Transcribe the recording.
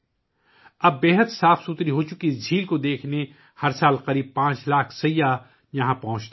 اب اس انتہائی صاف ستھری جھیل کو دیکھنے کے لیے ہر سال تقریباً 5 لاکھ سیاح یہاں پہنچتے ہیں